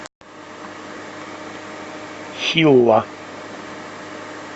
хилла